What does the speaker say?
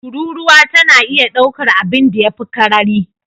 Tururuwa tana iya daukar abinda ya fi karari